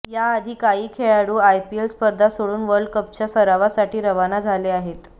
याआधी काही खेळाडू आयपीएल स्पर्धा सोडून वर्ल्ड कपच्या सरावासाठी रवाना झाले आहेत